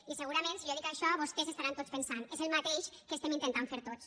i segurament si jo dic això vostès estaran tots pensant és el mateix que estem intentant fer tots